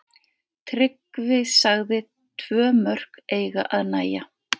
Tryggvi sagði tvö mörk eiga að nægja.